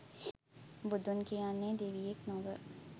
බුදුන් කියන්නේ දෙවියෙක් නොව